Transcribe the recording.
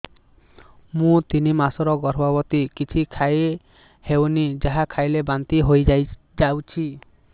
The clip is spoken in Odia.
ମୁଁ ତିନି ମାସର ଗର୍ଭବତୀ କିଛି ଖାଇ ହେଉନି ଯାହା ଖାଇଲେ ବାନ୍ତି ହୋଇଯାଉଛି